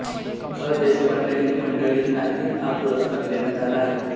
घ देशपांडे ही मंडळींनाही हा पुरस्कार देण्यात आला आहे